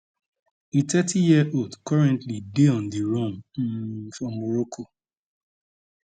di 30yearold currently dey on di run um for morocco